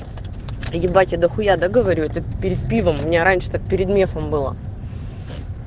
ебатя я дахуя да говорю это перед пивом у меня раньше так перед мефом было